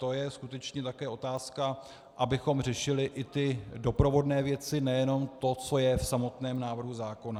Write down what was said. To je skutečně také otázka, abychom řešili i ty doprovodné věci, nejenom to, co je v samotném návrhu zákona.